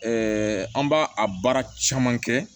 an b'a a baara caman kɛ